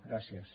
gràcies